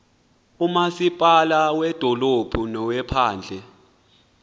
umasipala wedolophu nowephandle